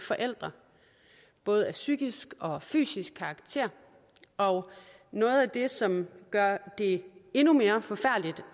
forældre af både psykisk og fysisk karakter og noget af det som gør det endnu mere forfærdeligt